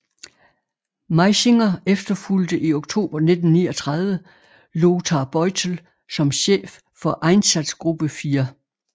Meisinger efterfulgte i oktober 1939 Lothar Beutel som chef for Einsatzgruppe IV